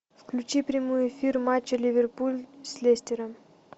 включи прямой эфир матча ливерпуль с лестером